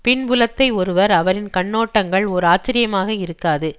பின்புலத்தை ஒருவர் அவரின் கண்ணோட்டங்கள் ஓர் ஆச்சரியமாக இருக்காது